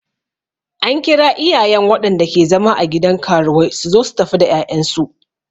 An kira iyayen waɗanda ke zama a gidan karuwai suzo su tafi da 'ya'yan su.